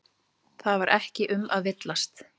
Það var ekki um að villast.